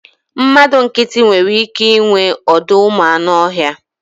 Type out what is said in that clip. Mmadụ nkịtị nwere ike inwe ọdọụmụanụọhịa